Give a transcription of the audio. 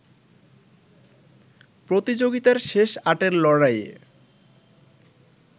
প্রতিযোগিতার শেষ আটের লড়াইয়ে